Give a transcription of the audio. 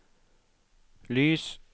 lys